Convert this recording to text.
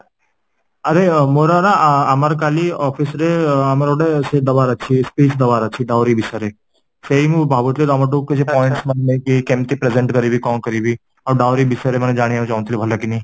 ଆରେ ମୋର ନା ଆମର କାଲି office ରେ ଆମର ଗୋଟେ ସେ ଦେବାର ଅଛି speech ଦେବାର ଅଛି ଡାଉରୀ ବିଷୟରେ, ସେଇ ମୁଁ ଭାବୁଥିଲି ତମଠୁ କିଛି points ନେଇକି କେମିତି present କରିବି କଣ କରିବି ଆଉ ଡାଉରୀ ଵିଶେରେ ଜାଣିବାକୁ ଚାହୁଁଥିଲି ଭଲକିନି